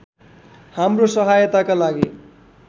हाम्रो सहायताका लागि